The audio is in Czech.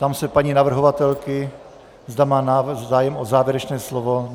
Ptám se paní navrhovatelky, zda má zájem o závěrečné slovo.